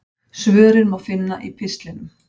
Svörin má finna í pistlinum.